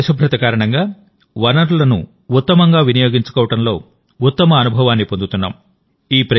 ఈ పరిశుభ్రత కారణంగావనరులను ఉత్తమంగా వినియోగించుకోవడంలో ఉత్తమ అనుభవాన్ని పొందుతున్నాం